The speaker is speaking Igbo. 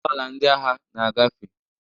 Ụgbọala ndị agha na-agafe.